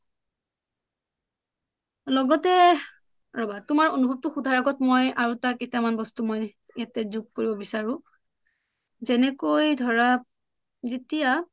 লগতে ৰবা তোমাৰ অনুভৱটো সুধাৰ আগত মই আৰু এটা কেইটামান বস্তু ইয়াতে যোগ কৰিব বিচাৰো যেনেকৈ ধৰা যেতিয়া